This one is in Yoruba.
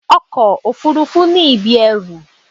Ọkọ òfúrúfú ní ibi ẹrù.